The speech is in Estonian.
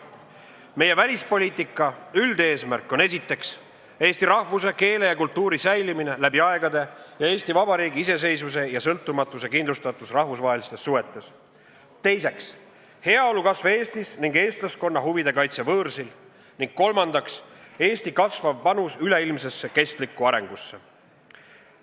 Meie välispoliitika üldeesmärk on esiteks, eesti rahvuse, keele ja kultuuri säilimine läbi aegade ja Eesti Vabariigi iseseisvuse ja sõltumatuse kindlustatus rahvusvahelises suhetes; teiseks, heaolu kasv Eestis ning eestlaskonna huvide kaitse võõrsil; ning kolmandaks, Eesti kasvav panus üleilmsesse kestlikku arengusse.